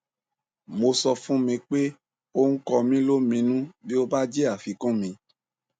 mo sọ fún mi pé ó ń kọ mí lóminú bí ó bá jẹ àfikún mi